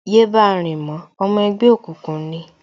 Yé báa rìn mọ́, Ọmọ ẹgbẹ́ òkùnkùn ni!